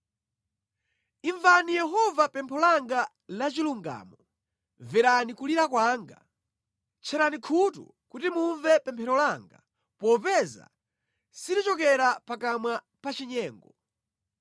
Imvani Inu Yehova pempho langa lachilungamo; mverani kulira kwanga. Tcherani khutu kuti mumve pemphero langa popeza silikuchokera pakamwa pachinyengo.